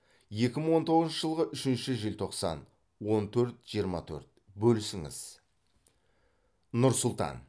екі мың он тоғызыншы жылғы үшінші желтоқсан он төрт жиырма төрт бөлісіңіз нұр сұлтан